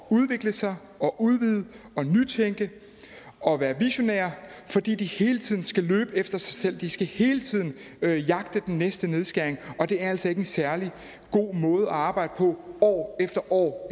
at udvikle sig udvide nytænke og være visionære fordi de hele tiden skal løbe efter sig selv de skal hele tiden jagte den næste nedskæring og det er altså ikke en særlig god måde at arbejde på år efter år